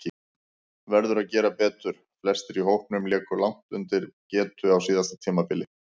Verður að gera betur: Flestir í hópnum léku langt undir getu á síðasta tímabili.